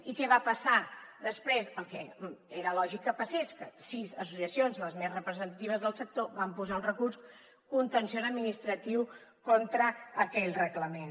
i què va passar després el que era lògic que passés que sis associacions les més representatives del sector van posar un recurs contenciós administratiu contra aquell reglament